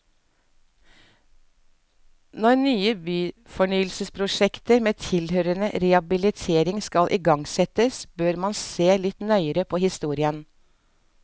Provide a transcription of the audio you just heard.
Når nye byfornyelsesprosjekter med tilhørende rehabilitering skal igangsettes, bør man se litt nøyere på historien.